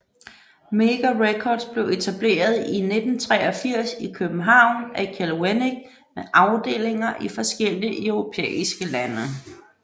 Mega Records blev etableret i 1983 i København af Kjeld Wennick med afdelinger i forskellige europæiske lande